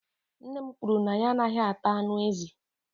nne m kwuru na ya anaghị ata anụ ezi